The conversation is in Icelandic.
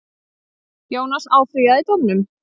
Jónas áfrýjaði dómnum.